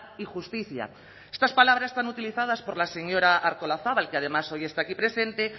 y justicia estas palabras tan utilizadas por la señora artolazabal que además hoy está aquí presente